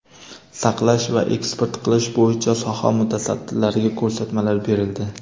saqlash va eksport qilish bo‘yicha soha mutasaddilariga ko‘rsatmalar berildi.